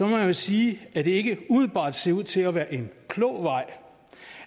jeg sige at det ikke umiddelbart ser ud til at være en klog vej